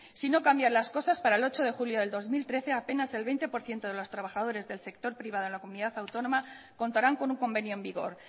si no cambian las cosas para el ocho de julio de dos mil trece apenas el veinte por ciento de los trabajadores del sector privado en la comunidad autónoma contarán con un convenio en vigor